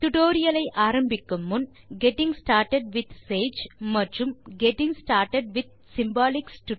tutorial ஐ ஆரம்பிக்கும் முன் நீங்கள் கெட்டிங் ஸ்டார்ட்டட் வித் சேஜ் மற்றும் கெட்டிங் ஸ்டார்ட்டட் வித் சிம்பாலிக்ஸ்